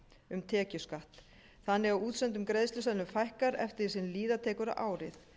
um tekjuskatt þannig að útsendum greiðsluseðlum fækkar eftir því sem líða tekur á árið